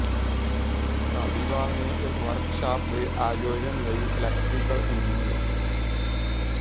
ਧਾਲੀਵਾਲ ਨੇ ਇਸ ਵਰਕਸ਼ਾਪ ਦੇ ਆਯੋਜਨ ਲਈ ਇਲੈਕਟ੍ਰੀਕਲ ਇੰਜ